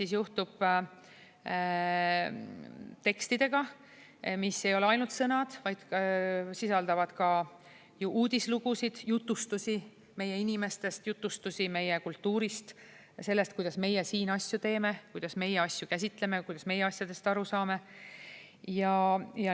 Mis juhtub tekstidega, mis ei ole ainult sõnad, vaid sisaldavad ka uudislugusid, jutustusi meie inimestest, jutustusi meie kultuurist ja sellest, kuidas meie siin asju teeme, kuidas meie asju käsitleme, kuidas meie asjadest aru saame?